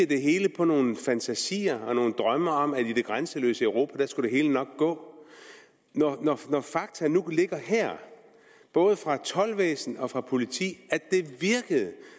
det hele på nogle fantasier og nogle drømme om at i det grænseløse europa skulle det hele nok gå når fakta nu ligger her både fra toldvæsen og fra politi